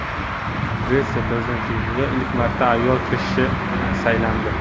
Gretsiya prezidentligiga ilk marta ayol kishi saylandi.